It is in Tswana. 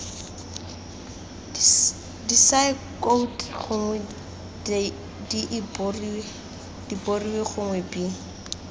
disaekoute gongwe diemborio gongwe b